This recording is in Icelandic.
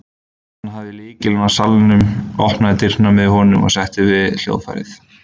Hann hafði lykil að salnum, opnaði dyrnar með honum og settist við hljóðfærið.